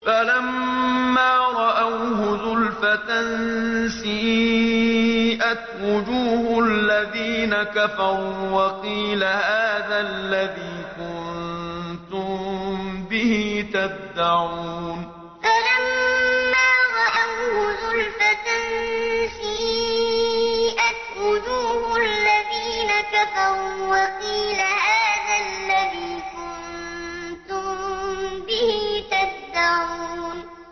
فَلَمَّا رَأَوْهُ زُلْفَةً سِيئَتْ وُجُوهُ الَّذِينَ كَفَرُوا وَقِيلَ هَٰذَا الَّذِي كُنتُم بِهِ تَدَّعُونَ فَلَمَّا رَأَوْهُ زُلْفَةً سِيئَتْ وُجُوهُ الَّذِينَ كَفَرُوا وَقِيلَ هَٰذَا الَّذِي كُنتُم بِهِ تَدَّعُونَ